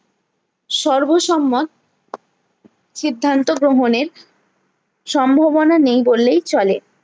সর্বসম্মা সিদ্ধান্ত গ্রহনের সম্ভবনা নেই বললেই চলে